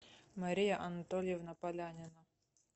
мария анатольевна полянина